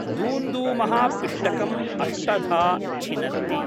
दूंदूमः पिष्टकम् अष्टधा छिनत्ति।